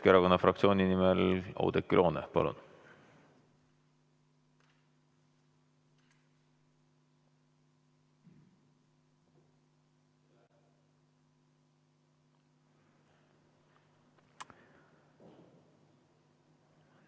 Keskerakonna fraktsiooni nimel Oudekki Loone, palun!